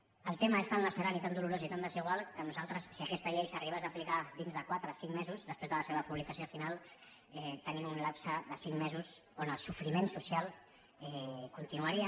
el tema és tan lacerant i tan dolorós i tan desigual que nosaltres si aquesta llei s’arribés a aplicar dins de quatre cinc mesos després de la seva publicació final tenim un lapse de cinc mesos on el sofriment social continuaria